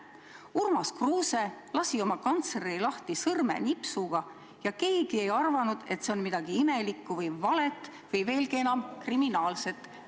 Urmas Kruuse lasi oma kantsleri lahti sõrmenipsuga ja keegi ei arvanud, et selles oleks olnud midagi imelikku, valet või, veelgi enam, kriminaalset.